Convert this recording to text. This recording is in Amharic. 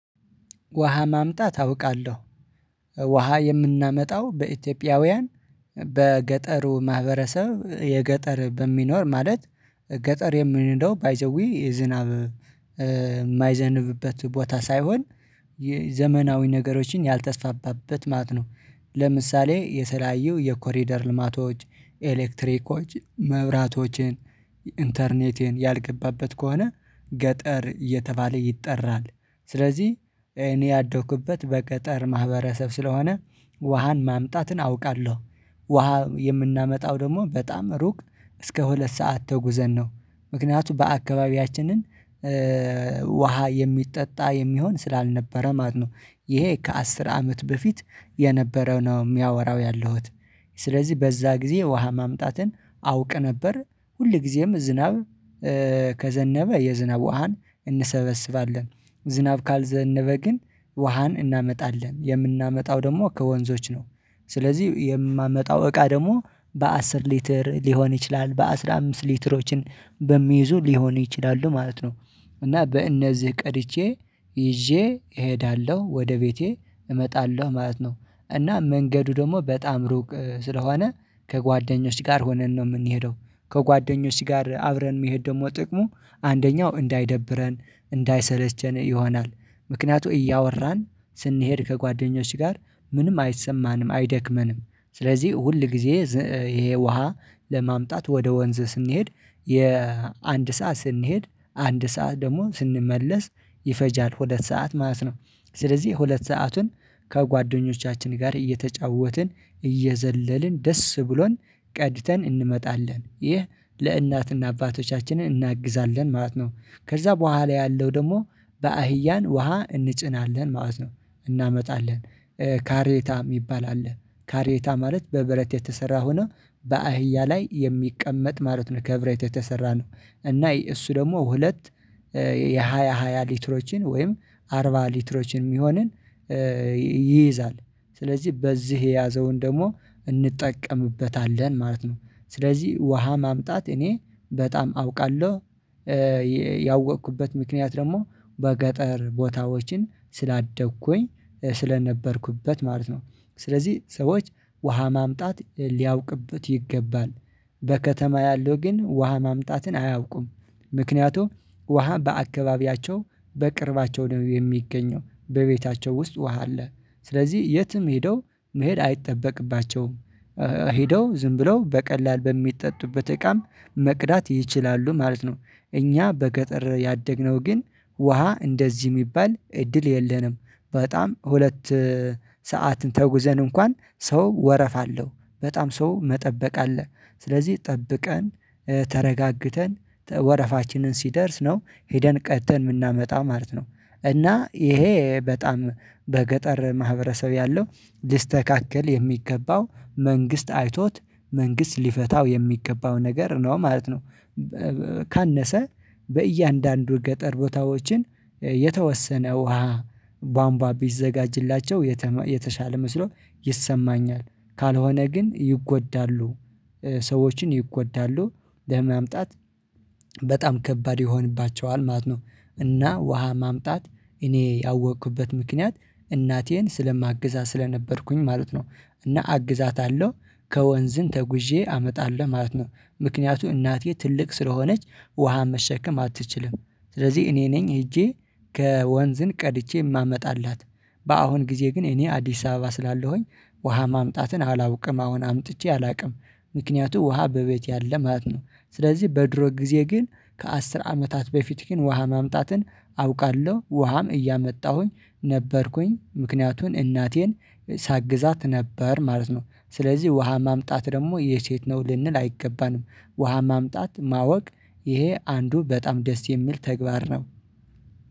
ውሃ ማምጣት አውቃለሁ። ውሃ የምናመጣው በኢትዮጵያውያን በገጠሩ ማህበረሰብ የገጠር በሚኖር ማለት ገጠር የምንለው ባይ ዘ ዌይ የዝናብ ማይዘንብበት ቦታ ሳይሆን ዘመናዊ ነገሮችን ያልተስፋባበት ማለት ነው። ለምሳሌ የተለላዩ የኮሪደር ልማቶች ኤሌክትሪኮች መብራቶችን ኢንተርኔትን ያልገባበት ከሆነ ገጠር እየተባለ ይጠራል ስለዚህ እኔ ያደኩበት በገጠር ማህበረሰብ ስለሆነ ውሃን ማምጣትን አውቃለሁ። ውሃ የምናመጣው ደግሞ በጣም ሩቅ እስከ ሁለት ሰዓት ተጉዘን ነው። ምክንያቱም በአካባቢያችንን ውሃ የሚጠጣ የሚሆን ስላልነበረ ማለት ነው። ይሄ ከአስር አመት በፊት የነበረው ነው ሚያወራው ያለሁት። ስለዚህ በዛ ጊዜ ውሃ ማምጣትን አውቅ ነበር ሁል ጊዜም ዝናብ ከዘነበ የዝናብ ውሃን እንሰበስባለን። ዝናብ ካልዘነበ ግን ውሃን እናመጣለን የምናመጣው ደግሞ ከወንዞች ነው። ስለዚህ የማመጣው እቃ ደግሞ በአስር ሊትር ሊሆን ይችላል በአስራ አምስት ሊትሮችን በሚይዙ ሊሆን ይችላሉ ማለት ነው። እና በእነዚህ ቀድቼ ይዤ እሄዳለሁ ወደ ቤቴ እመጣለሁ ማለት ነው። እና መንገዱ ደግሞ በጣም ሩቅ ስለሆነ ከጓደኞች ጋር ሆነን ነው ምንሄደው ከጓደኞች ጋር አብረን መሄድ ደግሞ ጥቅሙ አንደኛው እንዳይደብረን እንዳይሰለቸን ይሆናል። ምክንያቱም እያወራን ስንሄድ ከጓደኞች ጋር ምንም አይሰማንም አይደክመንም። ስለዚህ ሁል ጊዜ ይሄ ውሃ ለማምጣት ወደ ወንዝ ስንሄድ የአንድ ሰዓት ስንሄድ አንድ ሰዓት ደግሞ ስንመለስ ይፈጃል ሁለት ሰዓት ማለት ነው። ስለዚህ ሁለት ሰአቱን ከጓደኞቻችን ጋር እየተጫወትን እየዘለልን ደስ ብሎን ቀድተን እንመጣለን። ይህ ለእናትና አባቶቻችን እናግዛለን ማለት ነው ከዛ በኋላ ያለው ደግሞ በአህያን ውሃ እንጭናለን ማለት ነው። እናመጣለን። ካሬታ ሚባል አለ። ካሬታ ማለት በብረት የተሰራ ሆኖ በአህያ ላይ የሚቀመጥ ማለት ነው ከብረት የተሰራ ነው። እና እሱ ደግሞ ሁለት የሃያ ሃያ ሊትሮችን ወይም አርባ ሊትሮችን ሚሆንን ይይዛል። ስለዚህ በዚህ የያዘውን ደግሞ እንጠቀምበታለን ማለት ነው። ስለዚህ ውሃ ማምጣት እኔ በጣም አውቃለሁ። ያወቅኩበት ምክንያት ደግሞ በገጠር ቦታዎችን ስላደግኩኝ ስለነበርኩበት ማለት ነው። ስለዚህ ሰዎች ውሃ ማምጣት ሊያውቁበት ይገባል። በከተማ ያለው ግን ውሃ ማምጣትን አያውቁም። ምክንያቱም ውሃ በአካባቢያቸው በቅርባቸው ነው የሚገኘው በቤታቸው ውስጥ ውሃ አለ። ስለዚህ የትም ሄደው መሄድ አይጠበቅባቸውም ሄደው ዝም ብለው በቀላል በሚጠጡበት እቃም መቅዳት ይችላሉ ማለት ነው። እኛ በገጠር ያደግነው ግን ውሃ እንደዚህ ሚባል እድል የለንም። በጣም ሁለት ሰዓትን ተጉዘን እንኳን ሰው ወረፋ አለው በጣም ሰው መጠበቅ አለ። ስለዚህ ጠብቀን ተረጋግተን ወረፋችንን ሲደርስ ነው ሄደን ቀድተን ምናመጣ ማለት ነው። እና ይሄ በጣም በገጠር ማህበረሰብ ያለው ሊስተካከል የሚገባው መንግስት አይቶት መንግስት ሊፈታው የሚገባው ነገር ነው ማለት ነው። ካነሰ በእያንዳንዱ ገጠር ቦታዎችን የተወሰነ ውሃ ቧምቧ ቢዘጋጅላቸው የተሻለ መስሎ ይሰማኛል። ካልሆነ ግን ይጎዳሉ ሰዎችን ይጎዳሉ ለማምጣት በጣም ከባድ ይሆንባቸዋል ማለት ነው። እና ውሃ ማምጣት እኔ ያወቅኩበት ምክንያት እናቴን ስለማግዛ ስለነበርኩኝ ማለት ነው። እና አግዛታለሁ ከወንዝን ተጉዤ አመጣለሁ ማለት ነው። ምክንያቱ እናቴ ትልቅ ስለሆነች ውሃ መሸከም አትችልም። ስለዚህ እኔ ነኝ ሄጄ ከወንዝን ቀድቼ ማመጣላት በአሁን ጊዜ ግን እኔ አዲስ አበባ ስላለሁኝ ውሃ ማምጣትን አላውቅም አሁን አምጥቼ አላቅም። ምክንያቱ ውሃ በቤቴ አለ ማለት ነው። ስለዚህ በድሮ ጊዜ ግን ከአስር አመታት በፊት ግን ውሃ ማምጣትን አውቃለሁ ውሃም እያመጣሁኝ ነበርኩኝ ምክንያቱን እናቴን ሳግዛት ነበር ማለት ነው። ስለዚህ ውሃ ማምጣት ደግሞ የሴት ነው ልንል አይገባንም። ውሃ ማምጣት ማወቅ ይሄ አንዱ በጣም ደስ የሚል ተግባር ነው።